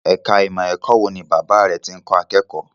Ẹ̀ka ìmọ̀ ẹ̀kọ́ wo ni Bàbá rẹ̀ tí ń kọ́ akẹ́kọ̀ọ́?